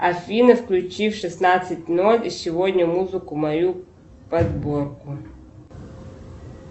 афина включи в шестнадцать ноль сегодня музыку мою подборку